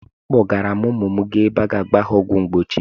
Akpọọrọ m ụmụ m gaa ebe a ga-agba ha ọgwụ mgbochi.